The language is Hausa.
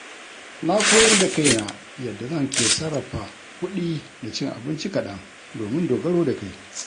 Na koyar da kaina yadda zan ke sarrafa kudi da cin abinci kaɗan domin dogaro da kai.